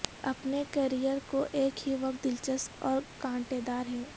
اپنے کیریئر کو ایک ہی وقت دلچسپ اور کانٹے دار ہے